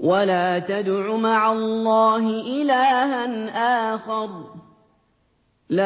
وَلَا تَدْعُ مَعَ اللَّهِ إِلَٰهًا آخَرَ ۘ لَا